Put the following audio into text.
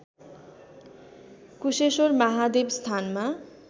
कुशेश्वर महादेव स्थानमा